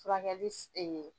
Furakɛ ye.